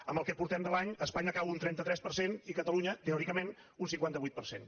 en el que portem de l’any espanya cau un trenta tres per cent i catalunya teòricament un cinquanta vuit per cent